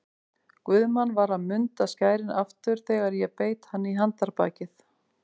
Guðmann var að munda skærin aftur þegar ég beit hann í handarbakið.